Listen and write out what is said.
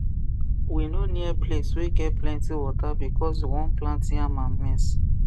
we no near palce wey get plenty water because we won plant yam and maize